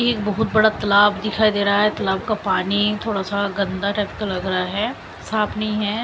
एक बहुत बड़ा तालाब दिखाई दे रहा है। तालाब का पानी थोड़ा सा गंदा टाइप लग रहा है। साफ नहीं है।